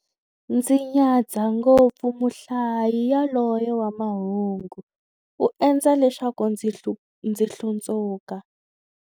Ndzi nyadza ngopfu muhlayi yaloye wa mahungu, u endla leswaku ndzi hlundzuka.